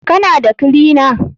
Kana da kilina?